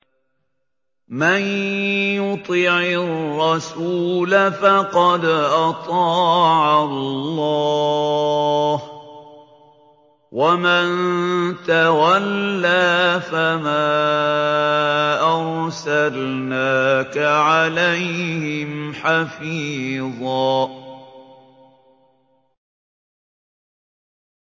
مَّن يُطِعِ الرَّسُولَ فَقَدْ أَطَاعَ اللَّهَ ۖ وَمَن تَوَلَّىٰ فَمَا أَرْسَلْنَاكَ عَلَيْهِمْ حَفِيظًا